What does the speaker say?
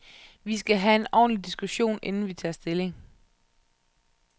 Vi skal have en ordentlig diskussion, inden vi tager stilling.